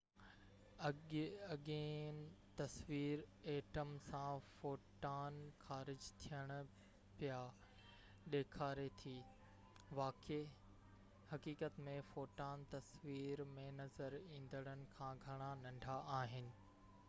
اڳيئن تصوير ائٽم سان فوٽان خارج ٿين پيا ڏيکاري ٿي واقعي حقيقت ۾ فوٽان تصوير ۾ نظر ايندڙن کان گهڻا ننڍا آهن